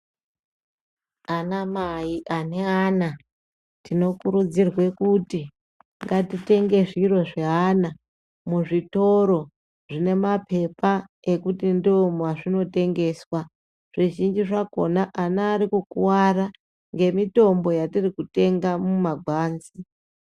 Ana mai ane ana tino kurudzirwe kuti ngati tenge zviro zve ana mu zvitoro zvine mapepa ekuti ndo mazvino tengeswa zvi zhinji zvakona ana ari kukwara nge mitombo yatiri kutenga mu magwanzi.